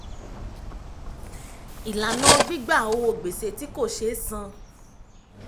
ìlànà gbígba owó gbèsè tí kò sé san.